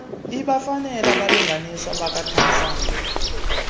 ibafanele abalinganiswa bakatamsanqa